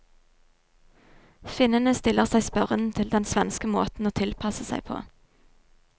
Finnene stiller seg spørrende til den svenske måten å tilpasse seg på.